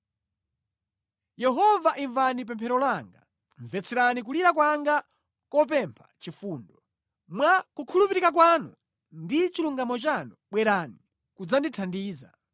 Yehova imvani pemphero langa, mvetserani kulira kwanga kopempha chifundo; mwa kukhulupirika kwanu ndi chilungamo chanu bwerani kudzandithandiza.